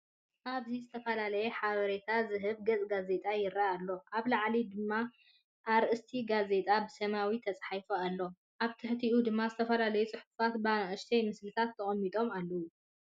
ኣብዚ ዝተፈላለየ ሓበሬታ ዝህብ ገጽ ጋዜጣ ይረአ ኣሎ። ኣብ ላዕሊ ድማ ኣርእስቲ ጋዜጣ ብሰማያዊ ተጻሒፉ ኣሎ። ኣብ ትሕቲኡ ድማ ዝተፈላለዩ ጽሑፋት ብንኣሽቱ ምስልታት ተቐሚጦም ኣለዉ።